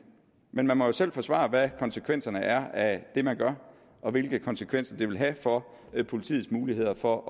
men man må jo selv forsvare hvad konsekvenserne er af det man gør og hvilke konsekvenser det vil have for politiets muligheder for